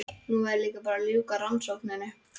Nú væri bara að ljúka rannsókninni.